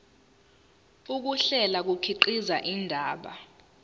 ukuhlela kukhiqiza indaba